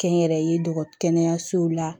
Kɛnyɛrɛye dɔgɔtɔrɔ kɛnɛyasow la